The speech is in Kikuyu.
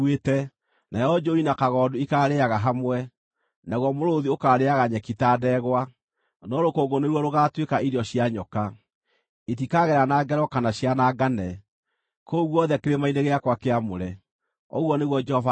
Nayo njũũi na kagondu ikaarĩĩaga hamwe, naguo mũrũũthi ũkarĩĩaga nyeki ta ndegwa, no rũkũngũ nĩruo rũgaatuĩka irio cia nyoka. Itikagerana ngero kana cianangane kũu guothe kĩrĩma-inĩ gĩakwa kĩamũre,” ũguo nĩguo Jehova ekuuga.